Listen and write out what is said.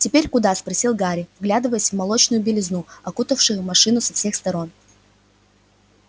теперь куда спросил гарри вглядываясь в молочную белизну окутавшую машину со всех сторон